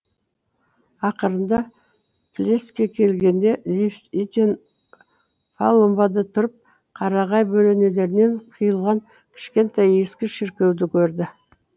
ақырында плеске келгенде левитен палубада тұрып қарағай бөренелерінен қиылған кішкентай ескі шіркеуді көрді